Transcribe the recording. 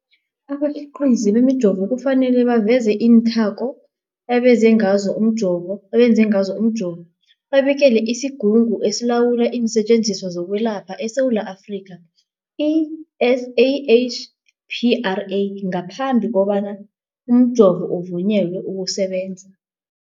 Abakhiqizi bemijovo kufanele baveze iinthako abenze ngazo umjovo, babikele isiGungu esiLawula iinSetjenziswa zokweLapha eSewula Afrika, i-SAHPRA, ngaphambi kobana umjovo uvunyelwe ukusebenza.